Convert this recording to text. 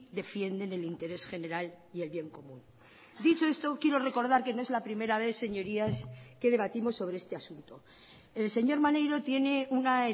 defienden el interés general y el bien común dicho esto quiero recordar que no es la primera vez señorías que debatimos sobre este asunto el señor maneiro tiene una